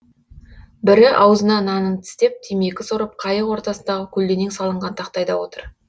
бірі аузына нанын тістеп темекі сорып қайық ортасындағы көлденең салынған тақтайда отыр